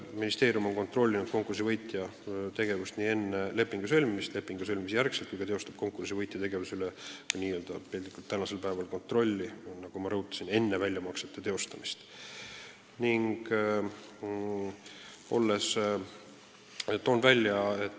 Ministeerium on kontrollinud konkursi võitja tegevust nii enne kui pärast lepingu sõlmimist, ka teostab ta konkursi võitja tegevuse üle kontrolli, nagu ma rõhutasin, enne väljamaksete tegemist.